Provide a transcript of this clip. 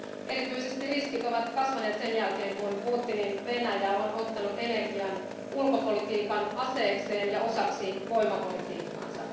Erityisesti riskit ovat kasvaneet sen jälkeen, kun Putinin Venäjä on ottanut energian ulkopolitiikan aseekseen ja osaksi voimapolitiikkaansa.